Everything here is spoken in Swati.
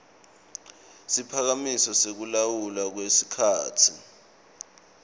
siphakamiso sekulawulwa kwesikhatsi